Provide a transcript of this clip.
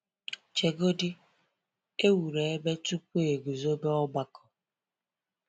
Chegodi, e wuru ebe tupu e guzobe ọgbakọ!